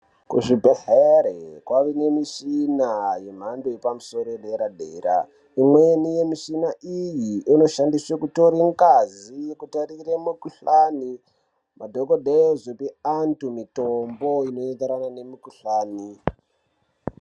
Kuzvibhedhlera kwakuwanikwa mishina yemhando yepamusoro yedera dera imweni yemushina iyi inoshandiswa kutora ngazi mukutarira mukuhlani antu mitombo inoenderana nemikuhlani.